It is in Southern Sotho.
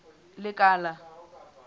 lekala